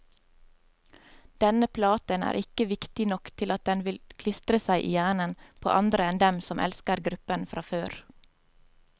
Denne platen er ikke viktig nok til at den vil klistre seg i hjernen på andre enn dem som elsker gruppen fra før.